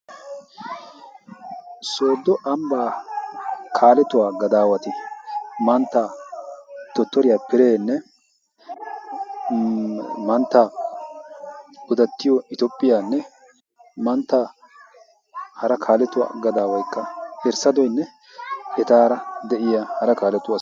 soodo ambbaa kaaletuwaa gadaawati manttaa dotoriyaa pirenne mantta godattiyo itoophphiyaanne manttaa hara kaaletuwaa gadaawaykka erssadoinne etaara de'iya hara kaaletuaa